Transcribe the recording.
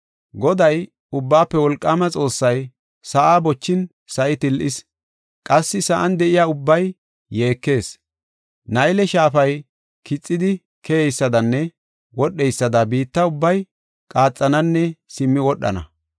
Goday, Ubbaafe Wolqaama Xoossay, sa7aa bochin sa7i til7ees; qassi sa7an de7iya ubbay yeekees. Nayle shaafay kixidi keyeysadanne wodheysada biitta ubbay qaaxananne simmi wodhana.